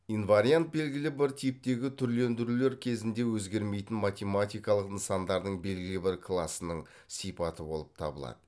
инвариант белгілі бір типтегі түрлендірулер кезінде өзгермейтін математикалық нысандардың белгілі бір класының сипаты болып табылады